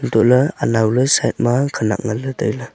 toh ley unnao ley side ma khanak nganley tailey.